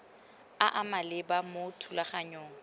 a a maleba mo thulaganyong